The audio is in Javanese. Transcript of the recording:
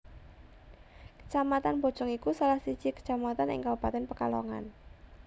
Kacamatan Bojong iku salah siji kacamatan ing kabupatèn Pekalongan